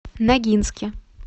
ногинске